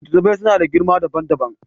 Littattafai suna da girma dabam dabam.